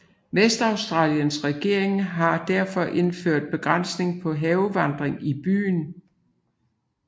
Western Australias regering har derfor indført begrænsning på havevanding i byen